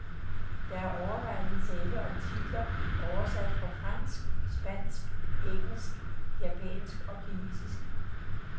Der er overvejende tale om titler oversat fra fransk, spansk, engelsk, japansk og kinesisk.